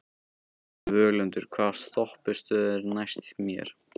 Völundur, hvaða stoppistöð er næst mér?